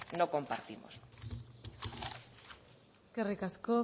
no compartimos eskerrik asko